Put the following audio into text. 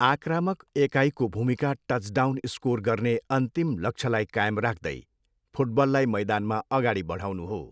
आक्रामक एकाइको भूमिका टचडाउन स्कोर गर्ने अन्तिम लक्ष्यलाई कायम राख्दै फुटबललाई मैदानमा अगाडि बढाउनु हो।